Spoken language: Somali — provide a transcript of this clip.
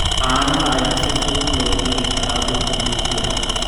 Caanaha ayaa si fudud looga heli karaa dhulka miyiga ah.